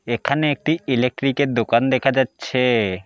এখানে একটি ইলেক্ট্রিক -এর দোকান দেখা যাচ্ছে।